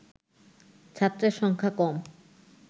ছাত্রের সংখ্যা কম